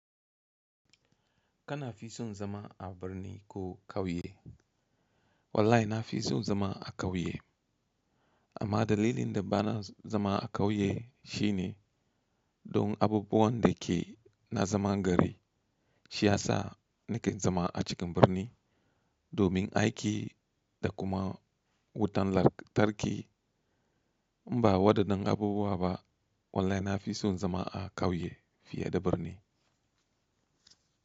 Kana fi son zama a birni ko kauye? Wallahi na fi son zama a kauye. Amma dalilin da bana zama a kauye shi ne don abubuwan da ke na zaman gari. Shi ya sa na ke zama a cikin birni domin aiki da kuma wutan lantarki. In ba wadannan abubuwa ba wallahi na fi son zama a kauye fiye da birni.